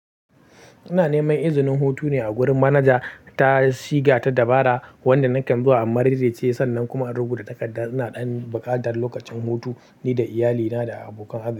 Ina neman izinin hutu ne a wurin manaja. Ta siga ta dabara wanda nakan zuwa, immarairai ce sannan kuma in rubuta takarda. Ina ɗan baƙatar lokacin hutu nida iyalina da abokan arzi.